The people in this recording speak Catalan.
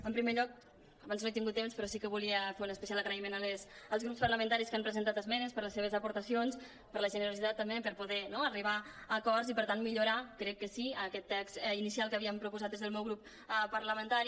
en primer lloc abans no he tingut temps però sí que volia fer un especial agraïment als grups parlamentaris que han presentat esmenes per les seves aportacions per la generositat també per poder arribar a acords i per tant millorar crec que sí aquest text inicial que havíem proposat des del meu grup par·lamentari